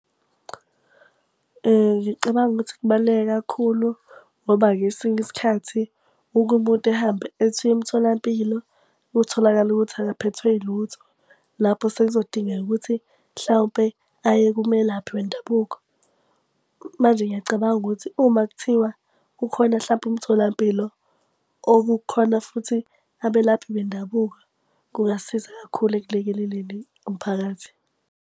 Ngicabanga ukuthi kubaluleke kakhulu ngoba ngesinye isikhathi uke umuntu ehambe ethi uya emtholampilo kutholakale ukuthi akaphethwe ilutho. Lapho sekuzodingeka ukuthi mhlawumpe aye kumelaphi wendabuko. Manje ngiyacabanga ukuthi uma kuthiwa kukhona hlampe umtholampilo okukhona futhi abelaphi bendabuko kungasiza kakhulu ekulekeleleni umphakathi.